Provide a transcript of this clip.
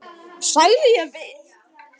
sagði ég við